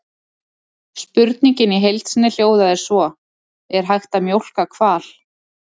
Spurningin í heild sinni hljóðaði svo: Er hægt að mjólka hval?